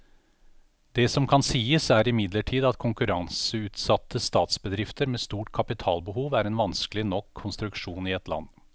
Det som kan sies, er imidlertid at konkurranseutsatte statsbedrifter med stort kapitalbehov er en vanskelig nok konstruksjon i ett land.